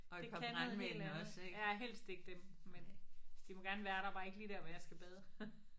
Det kan noget helt andet. Ja helst ikke dem. Men de må gerne være der bare ikke lige der hvor jeg skal bade